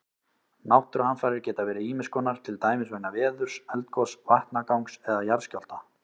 Náttúruhamfarir geta verið ýmis konar, til dæmis vegna veðurs, eldgoss, vatnagangs eða jarðskjálfta.